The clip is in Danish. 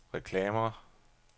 reklamer